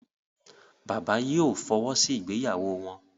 Bàbá yìí ò fọwọ́ sí ìgbéyàwó wọn.